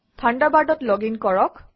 থাণ্ডাৰবাৰ্ডত login কৰক